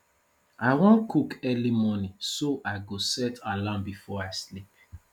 i wan cook early morning so i go set alarm before i sleep